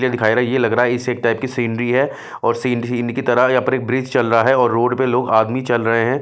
ये दिखाय रा ये लग रहा सेट टाइप की सीनरी है और सिन सीनरी की तरह यहां पर एक ब्रिज चल रा है और रोड पे लोग आदमी चल रहे हैं।